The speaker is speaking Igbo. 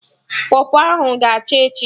Pọpọ ahụ ga-acha echi